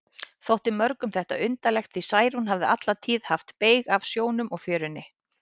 Þótti mörgum þetta undarlegt, því Særún hafði alla tíð haft beyg af sjónum og fjörunni.